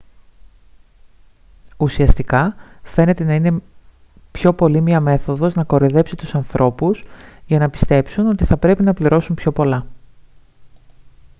ουσιαστικά φαίνεται να είναι πιο πολύ μια μέθοδος να κοροϊδέψει τους ανθρώπους για να πιστέψουν ότι θα πρέπει να πληρώσουν πιο πολλά